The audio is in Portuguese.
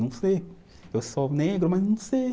Não sei, eu sou negro, mas não sei.